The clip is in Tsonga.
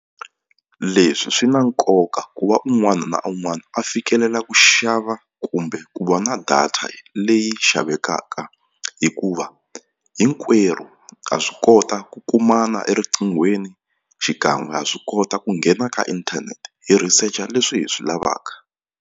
Leswi swi na nkoka ku va un'wana na un'wana a fikelela ku xava kumbe ku va na data leyi xavekaka hikuva hinkwerhu ha swi kota ku kumana eriqinghweni xikan'we ha swi kota ku nghena ka inthanete hi researcher leswi hi swi lavaka.